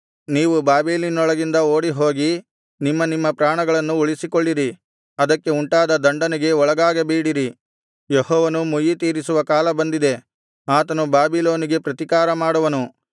ನೀವು ಬಾಬೆಲಿನೊಳಗಿಂದ ಓಡಿಹೋಗಿ ನಿಮ್ಮ ನಿಮ್ಮ ಪ್ರಾಣಗಳನ್ನು ಉಳಿಸಿಕೊಳ್ಳಿರಿ ಅದಕ್ಕೆ ಉಂಟಾಗುವ ದಂಡನೆಗೆ ಒಳಗಾಗಬೇಡಿರಿ ಯೆಹೋವನು ಮುಯ್ಯಿತೀರಿಸುವ ಕಾಲ ಬಂದಿದೆ ಆತನು ಬಾಬಿಲೋನಿಗೆ ಪ್ರತಿಕಾರ ಮಾಡುವನು